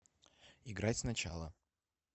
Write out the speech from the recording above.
играть сначала